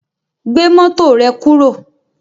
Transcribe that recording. Gbé mọ́tò rẹ kúrò